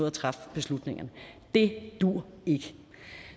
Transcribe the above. at træffe beslutningerne det duer ikke